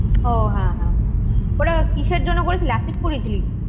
ওঃ হ্যাঁ হ্যাঁ হ্যাঁ। ওটা কিসের জন্য করিয়েছিলি? করিয়েছিলি?